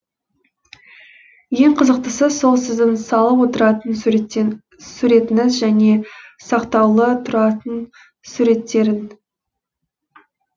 ең қызықтысы сол сіздің салып отыратын суретіңіз және сақтаулы тұратын суреттерің